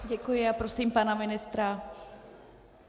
Děkuji a prosím pana ministra.